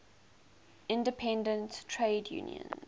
independent trade unions